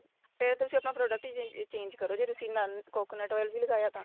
ਫੇਰ ਤੁਸੀਂ ਆਪਣਾ product change ਕਰੋ ਜੇ ਤੁਸੀਂ ਇੰਨਾ coconut oil ਵੀ ਲਗਾਇਆ ਤਾਂ